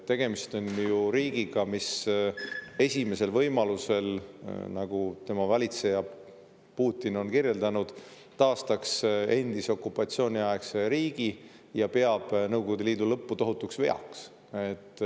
Tegemist on riigiga, mis esimesel võimalusel, nagu tema valitseja Putin on kirjeldanud, taastaks endise okupatsiooniaegse riigi ja peab Nõukogude Liidu lõppu tohutuks veaks.